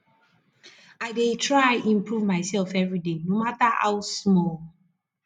i dey try improve mysef everyday no mata how small